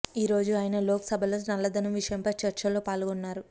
ఈ రోజు ఆయన లోక్ సభలో నల్లదనం విషయంపై చర్చలో పాల్గొన్నారు